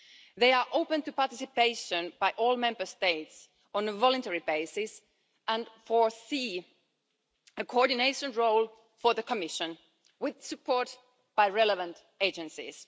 They are open to participation by all Member States on a voluntary basis and provide for a coordination role for the Commission, with support from relevant agencies.